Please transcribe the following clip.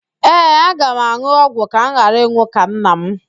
Ee, aga m an̄ụ ọgwụ ka m ghara ịnwụ ka nna m